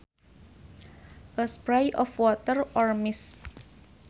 A spray of water or mist